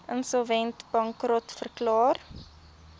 insolvent bankrot verklaar